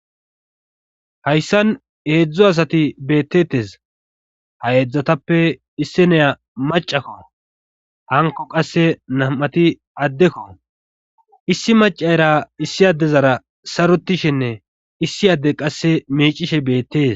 Hayssan eedzdzo asati beettetes ha heedzdzatappe issi neya macakko hanko qasse nam'ati addekko issi macayra issi adezara sarotishinne issi adde qasse miicishe beettees.